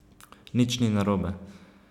Nič ni narobe.